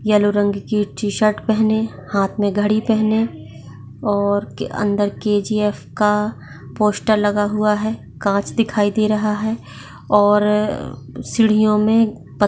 yellow रंग की t shirt पेहनी हात मे घड़ी पेहनी और अंदर केजीफ का पोस्टर लगा हुआ है काच दिखाई दे रहा है और सीडीयोमे पत्थ --